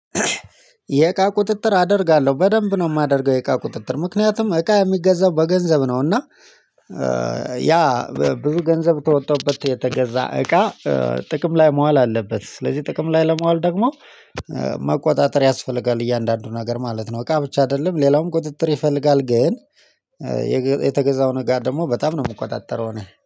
የእቃ ቁጥጥር አደርጋለሁ በደንብ ነው የማደርገው የእቃ ቁጥጥር ምክንያቱም እቃ የሚገዛው በገንዘብ ነው። እና ያ ብዙ ገንዘብ ከወጣሁበት የተገዛ እቃ ጥቅም ላይ መዋል አለበት ስለዚህ ጥቅም ላይ ለማዋል ደግሞ መቆጣጠር ያስፈልጋል። እያንዳንዱ ነገር ማለት ነው እቃ ብቻ አይደለም ሌላውም ቁጥጥር ይፈልጋል። ግን የገ የተገዛው ነገር ደግሞ በጣም ነው የሚቆጣጠረው ነው